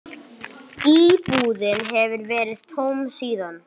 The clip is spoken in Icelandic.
Íbúðin hefur verið tóm síðan.